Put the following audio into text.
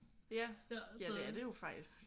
Ja. Ja det er det jo faktisk